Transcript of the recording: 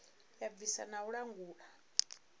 ya bvisa na u langula